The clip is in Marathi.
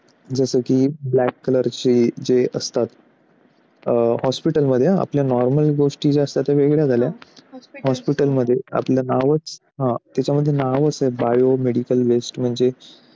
जसं की black color चा जे असतात. hospital मध्ये हा आपल्या या normal गोष्टी झाल्या त्या वेगळ्या झाल्या hospital मध्ये आपलं नावच त्याच्यामध्ये नावाचा biomedical waste मध्ये